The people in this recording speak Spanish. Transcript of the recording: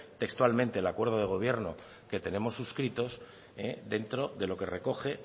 textualmente el acuerdo de gobierno que tenemos suscrito dentro de lo que recoge